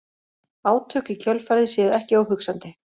Átök í kjölfarið séu ekki óhugsandi